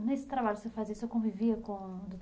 E nesse trabalho que você fazia, você convivia com o